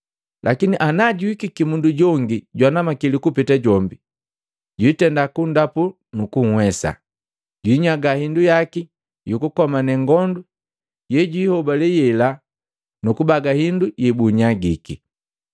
Lakini ana juhikiki mundu jongi jwanamakili kupeta jombi, jwiitenda kunndapu nukuwesa, jwiinyaga hindu yaki yukukomane ngondu yejuihobale yela nukubaga hindu yebunnyagiki.